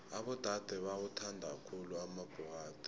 abodade bawathanda khulu amabhokadi